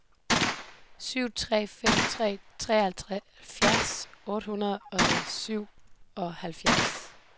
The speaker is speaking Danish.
syv fire fem tre seksoghalvfjerds otte hundrede og syvoghalvfjerds